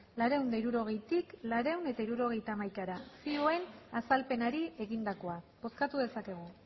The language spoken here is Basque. laurehun eta hirurogeitik laurehun eta hirurogeita hamaikara zioen azalpenari egindakoa bozkatu dezakegu